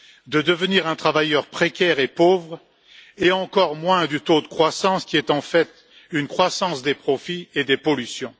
de devenir un travailleur précaire et pauvre, et encore moins du taux de croissance qui est en fait une croissance des profits et des pollutions.